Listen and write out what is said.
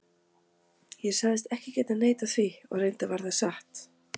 Ég sagðist ekki geta neitað því, og reyndar var það satt.